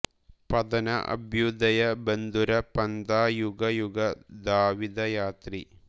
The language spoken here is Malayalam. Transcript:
പതന അഭ്യുദയ ബന്ധുര പന്ഥാ യുഗ യുഗ ധാവിത യാത്രീ